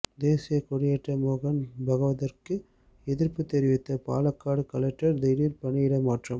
தேசிய கொடியேற்ற மோகன் பகவத்திற்கு எதிர்ப்பு தெரிவித்த பாலக்காடு கலெக்டர் திடீர் பணியிட மாற்றம்